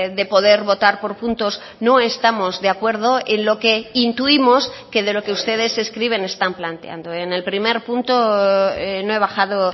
de poder votar por puntos no estamos de acuerdo en lo que intuimos que de lo que ustedes escriben están planteando en el primer punto no he bajado